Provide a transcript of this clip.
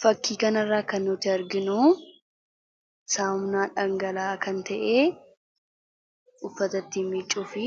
fakkiikan irraa kan nuti arginu saawamnaa dhangalaa kan ta'ee uffatatti miccuu fi